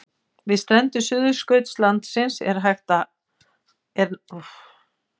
Við strendur Suðurskautslandsins er nægt æti fyrir hvítabirni.